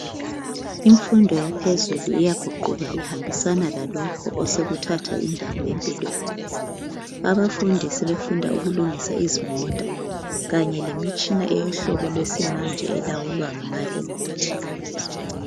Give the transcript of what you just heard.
Imfundo yaphezulu iyaguquka ihambisana lalokhu osekuthatha indawo empilweni abafundi sebefunda ukulungisa izimota kanye lemitshina yesihlobo yamanje elawulwa ngamaremote